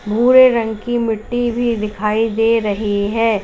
भूरे रंग की मिट्टी भी दिखाई दे रही है।